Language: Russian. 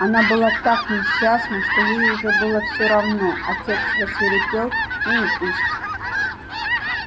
она была так несчастна что ей уже было всё равно отец рассвирепел ну и пусть